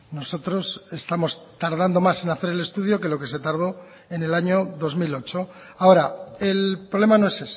nosotros estamos tardando más en hacer el estudio que lo que se tardó en el año dos mil ocho ahora el problema no es